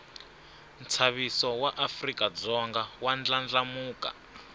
nshaviso waafrikadzonga wandlandlamuka